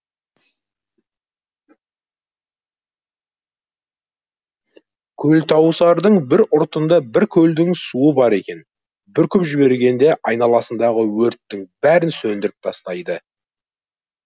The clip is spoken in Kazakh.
көлтауысардың бір ұртында бір көлдің суы бар екен бүркіп жібергенде айналасындағы өрттің бәрін сөндіріп тастайды